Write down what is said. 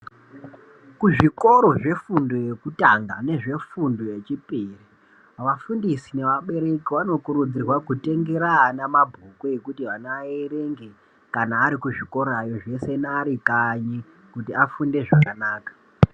Kuzvikora zvefundo yekutanga nezvefundo yefundo yechiri vafundisi nevabereku vanokurudzirwa kutengera ana mabhuku ekuti ana aerenge kana arikuzvikorayo zveshe arikanyi kuti afunde zvakanaka.